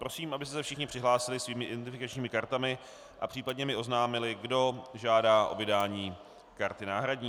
Prosím, abyste se všichni přihlásili svými identifikačními kartami a případně mi oznámili, kdo žádá o vydání karty náhradní.